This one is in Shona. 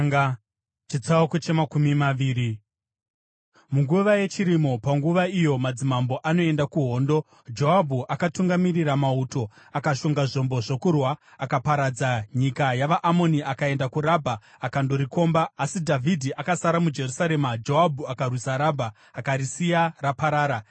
Munguva yechirimo, panguva iyo madzimambo anoenda kuhondo, Joabhu, akatungamirira mauto akashonga zvombo zvokurwa. Akaparadza nyika yavaAmoni akaenda kuRabha akandorikomba, asi Dhavhidhi akasara muJerusarema. Joabhu akarwisa Rabha akarisiya raparara.